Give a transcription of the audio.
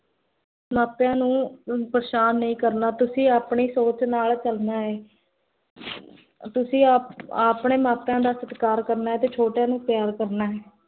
ਮਾਪਿਆਂ ਨੂੰ ਪਰੇਸ਼ਾਨ ਨਹੀ ਕਰਨਾ l ਤੁਸੀਂ ਆਪਣੀ ਸੋਚ ਨਾਲ ਚਲਨਾ ਹੈ ਤੁਸੀਂ ਆਪ ਆਪਣੇ ਮਾਪਿਆਂ ਦਾ ਸਤਕਾਰ ਕਰਨਾ ਹੈ ਤੇ ਛੋਟਿਆਂ ਨੂੰ ਪਿਆਰ ਕਰਨਾ ਹੈ l